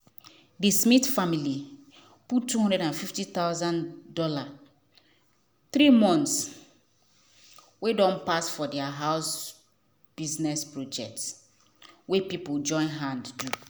the smith family put two hundred and fifty thousand dollars three months wey don pass for their house business project wey people join hand do.